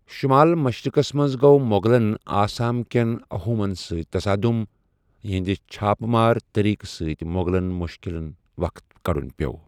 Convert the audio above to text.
شُمال مشرِقس منٛز گوٚو مُغلن آسام کیٚن اَحومن سۭتۍ تصادٗم ، یِہنٛدِ چھاپہٕ مار طریقہٕ سۭتۍ مُوغلن مُشکِلن وقت كڈٗن پِیو٘ ۔